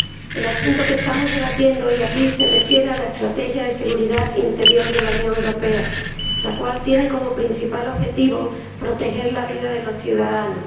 El asunto que estamos debatiendo hoy aquí se refiere a la Estrategia de Seguridad Interior de la Unión Europea, la cual tiene como principal objetivo proteger la vida de los ciudadanos.